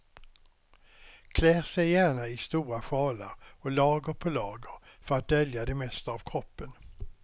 Klär sig gärna i stora sjalar och lager på lager för att dölja det mesta av kroppen.